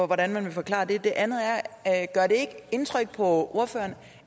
hvordan man vil forklare det det andet er gør det ikke indtryk på ordføreren